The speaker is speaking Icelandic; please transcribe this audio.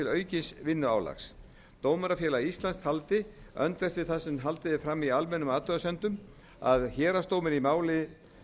aukins vinnuálags dómarafélag íslands taldi öndvert við það sem haldið er fram í almennum athugasemdum að héraðsdómur í máli